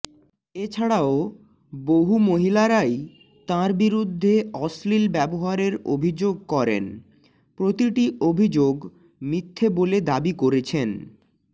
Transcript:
এছাড়াও বহু মহিলারাই তাঁর বিরুদ্ধে অশ্লীল ব্যবহারের অভিযোগ করেন প্রতিটি অভিযোগ মিথ্যে বলে দাবি করেছেন